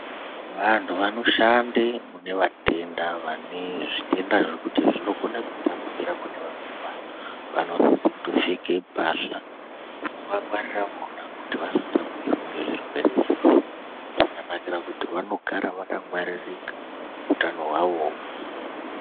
Vantu vanoshande mune vatenda ,vane zvitenda zvekuti zvinokona kutapukira kune amweni anhu, vanosise kutopfeke pahla dzinovangwarira vona kuti vasatapukirwa ngezvirwere izvozvo. Zvakanakire kuti vanogara vakangwaririka ,utano hwavowo